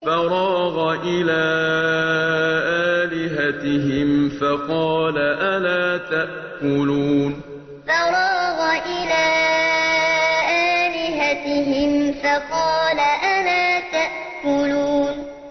فَرَاغَ إِلَىٰ آلِهَتِهِمْ فَقَالَ أَلَا تَأْكُلُونَ فَرَاغَ إِلَىٰ آلِهَتِهِمْ فَقَالَ أَلَا تَأْكُلُونَ